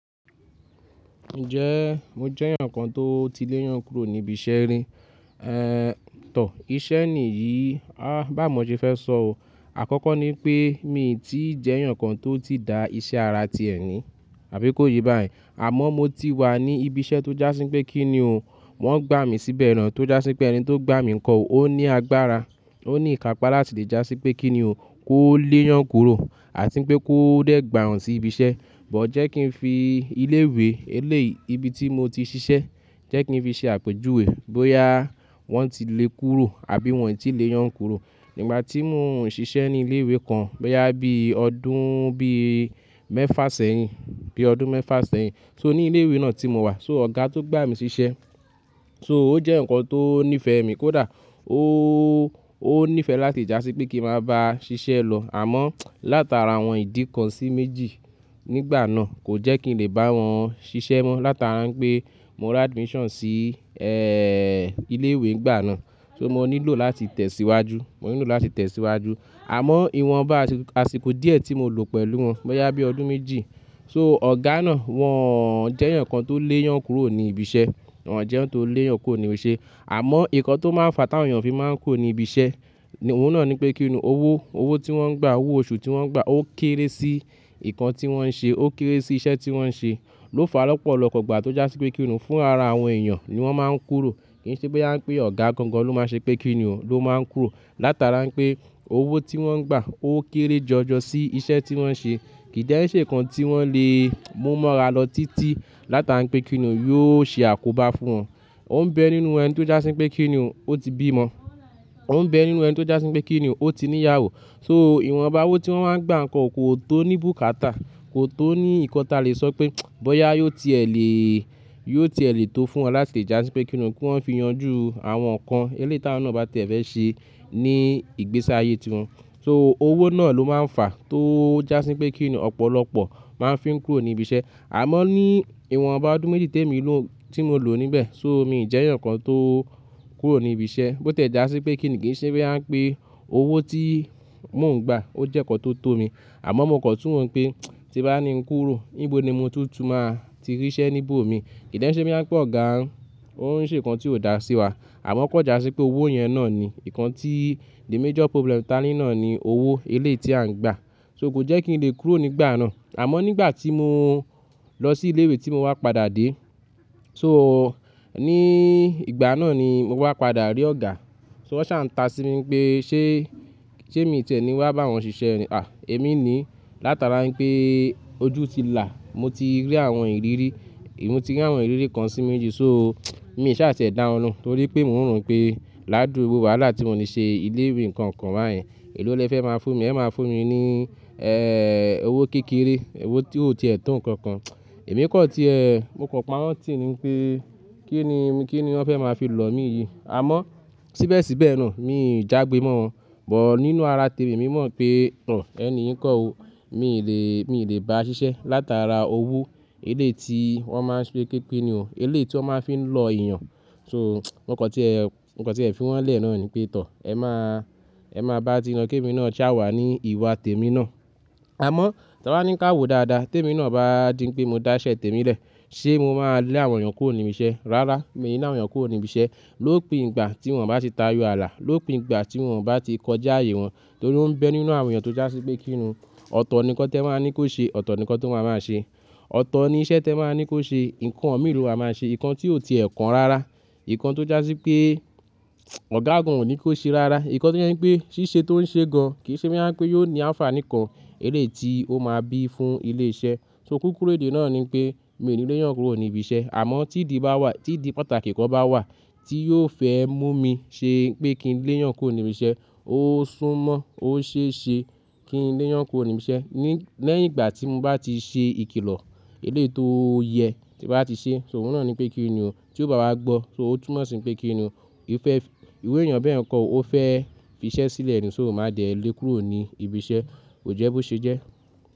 Ǹjẹ́ mo jẹ́ èèyàn kan tó ti léeyàn kúrò níbi iṣẹ́ rì? Eeh tọ̀, ìṣe ni yìí, à báwo mọ ṣe fẹ́ sọ o. Àkọ́kọ́ ní pé mi ò tí ì jẹ́ èèyàn kan tó ti da iṣẹ́ ara tíẹ̀ ní, àbí kó ye báyi. Àmọ́ mo ti wà ní ibi iṣẹ́ tó já sí pé kíni o, wọ́n gbà mí síbẹ̀ ràn tó já sí pé ẹni tó gbà mí ńkọ ò, ó ní agbára, ó ní ìkápá láti lè já sí pé kíni o kó léyàn kúrò àti pé kó dé gbà wọ́n sí ibi iṣẹ́. Bọ̀ọ̀ jẹ́ kí n fi ilé ìwé eléyií ibi tí mo ti ṣiṣẹ́, jẹ́ kí n fi ṣe àpèjúwe bóyá wọ́n ti lè kúrò àbí wọ́n ò tí lè yàn kúrò. Nígbà tí mò ń ṣiṣẹ́ ní ilé ìwé kan, bóyá bí ọdún bí mẹ́fà sẹ́yìn, bí ọdún mẹ́fà sẹ́yìn, so, ní ilé ìwé náà tí mo wà, so, ọ̀gá tó gbà mí ṣiṣẹ́, so ó jẹ́ eeyan kan tó nífẹ̀ẹ́ mi kódà, ó, ó nífẹ̀ẹ́ láti lè já sí pé kí n máa bá a ṣiṣẹ́ lọ. Àmọ́ látara àwọn ìdí kan sí méjì nígbà náà kò jẹ́ kí n lè bá wọn ṣiṣẹ́ mọ́ látara pé mo ra admission sí, ẹẹ́, ilé ìwé nígbà náà. So mo nílò láti tẹ̀síwájú, mo nílò láti tẹ̀síwájú. Àmọ́ ìwọ̀nba àsìkò díẹ̀ tí mo lò pẹ̀lú wọn, bóyá bí ọdún méjì, so ọ̀gá náà wọ́n jẹ́ eeyan kan tó léyàn kúrò ní ibi iṣẹ́, wọ́n jẹ́ eeyan tó léyàn kúrò níbi iṣẹ́. Àmọ́ nnkan tó máa ń fa tí àwọn èèyàn fi máa ń kúrò ní ibi iṣẹ́, òhun náà ní pé kíni o, owó, owó tí wọ́n ń gbà, owó oṣù tí wọ́n ń gbà ó kéré sí nnkan tí wọ́n ń ṣe, ó kéré sí iṣẹ́ tí wọ́n ń ṣe ló fa lọ́pọ̀lọpọ̀ ìgbà tó já sí pé kíni o fún ara àwọn èèyàn ni wọ́n máa ń kúrò. Kì í ṣe bóyá ń pé ọ̀gá gan gan ló máa ṣe pé kíni o ló máa ń kúrò látara pé owó tí wọ́n ń gbà ó kéré jọjọ sí iṣẹ́ tí wọ́n ń ṣe. Kì í de ẹ́ ṣe nnkan tí wọ́n lè mú mọ́ra lọ títí látara pé kíni o yóò ṣe àkóbá fún wọn. Ó ń bẹ nínú ẹni tó já sí pé kíni o ó ti bí ọmọ. Ó ń bẹ nínú ẹni tó já sí pé kíni o ó ti ní ìyàwó. So ìwọ̀nba owó tí wọ́n máa ń gbà ǹko kò tó ní bùkátà, kò tó ní ǹnkan tí a lè sọ pé bóyá yóò ti è lè, yóò ti è lè tó fún wọn láti lè já sí pé kíni o kí wọ́n fi yanjú àwọn nnkan eléyìí táwọn náà bá tie fẹ́ ṣe ní ìgbésí ayé tí wọn. So owó náà ló máa ń fa tó já sí pé kíni o ọ̀pọ̀lọpọ̀ máa ń fi ń kúrò ní ibi iṣẹ́. Àmọ́ ní ìwọ̀nba ọdún méjì tẹ́mi lo, tí mo lò níbẹ̀, so, mi ò jẹ́ eeyan kan tó kúrò ní ibi iṣẹ́ bó tilẹ́ já sí pé kíni kì í ṣe bóyá ń pé owó tí mò ń gbà ó jẹ́ ǹnkan tó tó mi. Àmọ́ mò kan tun wọ́ pé tí bá ní ń kúrò níbo ni mo tuntun máa ti rí iṣẹ́ níbi ò mi. Kì í jẹ́ ẹ́ ṣe bóyá ń pé ọ̀gá ń ṣe nnkan tí ò dá sí wa. Àmọ́ kò já sí pé owó yẹn náà ni nnkan tí the major problem tá ní náà ni owó eléyìí tí à ń gbà. So kò jẹ́ kí n lè kúrò nígbà náà. Àmọ́ nígbà tí mo lọ sí ilé ìwé tí mo wá padà dé, so, ní ìgbà náà ni mo wá padà rí ọ̀gá. So wọ́n ṣà ǹ ta sí mi pé ṣé, ṣé mi tẹ̀ní wá bá wọn ṣiṣẹ́ ni? À! Èmi ni látara pé ojú ti là, mo ti rí àwọn ìrírí, èmi ti rí àwọn ìrírí kan sí méjì. So mii ṣà tiẹ̀ dà wọn lohun torí pé mò ń rò n pé ládùrú gbogbo wàhalà tí mò ní ṣe ilé ìwé nkan kan báyen, èló lẹ fẹ́ máa fún mi? Ẹ máa fún mi ní, ẹẹ́, owó kékeré, owó tí ò tiè tó ǹkan kan. Èmi kan tíẹ, mo kàn páwọ́n tì í ni pé kí ni, kí ni wọ́n fẹ́ máa fi lọ̀ mí yìí. Àmọ́ síbẹ̀ síbẹ̀ náà mi ò jágbe mọ́ wọn. Bọ̀ọ́ nínú ara tèmi, mi mọ̀ pé, ẹ̀, ẹni yii ńkọ́ o, mi ò lè, mi ò lè bá a ṣiṣẹ́ látara owó eléyìí tí wọ́n máa ń ṣe pé kini o, eléyìí tí wọ́n máa ń fi lọ èèyàn. So mokan tíe, mokan tíẹ fi wọn lẹ̀ náà ni pé tọ̀, ẹ máa, ẹ máa bá tiyin lo kémi náà ṣá wà ní ìwà tèmi náà. Àmọ́ ta bá ní ń kawọ̀ dáadáa, tèmi náà bá di pé mo dá iṣẹ́ tèmi lẹ̀, ṣé mo máa lé àwọn èèyàn kúrò níbi iṣẹ́? Rárá, mi ni le awon èèyàn kúrò níbi iṣẹ́ lópin ìgbà tí wọ́n bá ti tarí ààlà, lópin ìgbà tí wọ́n bá ti kọjá ààyè wọn torí ó ń bẹ nínú àwọn èèyàn tó já sí pé kíni o, ọ̀tọ̀ ni nnkán tẹ máa ní kó ṣe, ọ̀tọ̀ ni nnkan tí wọ́n máa máa ṣe. Ọ̀tọ̀ ni iṣẹ́ tẹ máa ní kó ṣe, nnkán mìí lo ma máa ṣe, nnkan tí ò ti è kàn rárá, nnkan tó já sí pé ọ̀gá gan ò ní kó ṣe rárá, nnkan tó jẹ́ pé ṣíṣe tó ń ṣe gan kì í ṣe bóyá ń pé yóò ní anfaani kan eléyìí tí ó máa bí fún ilé iṣẹ́. So kúkúrú èdè náà ni pé mi ò ní léyàn kúrò ní ibi iṣẹ́. Àmọ́ tí ìdí bá wà, tí ìdí pàtàkì kan bá wà tí yóò fẹ́ mú mi ṣe pé kí n léyàn kúrò níbi iṣẹ́, ó súnmọ́, ó ṣe é ṣe kí n léyàn kúrò níbi iṣẹ́ ní-- lẹ́yìn ìgbà tí mo bá ti ṣe ìkìlọ̀ eléyìí tó yẹ tí n bá ti ṣe. So òhun náà ni pé kíni o, tí ò bá wá gbọ́, so ó túnmọ̀ sí pé kíni o, ìfẹ́, ìru èèyàn bẹ́ẹ̀ ńkọ ó fẹ́ fi iṣẹ́ sílẹ̀ nì, so mo máa dẹ́ lé kúrò ní ibi iṣẹ́, ko jẹ́ bó ṣe jẹ́.